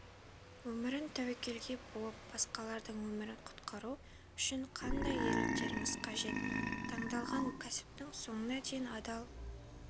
өмірін тәуекелге буып басқалардың өмірін құтқару үшін қандай ерліктеріңіз қажет таңдалған кәсіптің соңына дейін адал